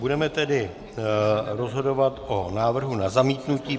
Budeme tedy rozhodovat o návrhu na zamítnutí.